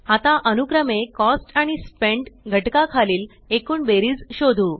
आता अनुक्रमे कॉस्ट आणि स्पेंट घटका खालील एकूण बेरीज शोधू